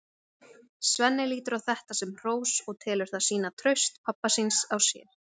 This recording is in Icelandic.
Svenni lítur á þetta sem hrós og telur það sýna traust pabba síns á sér.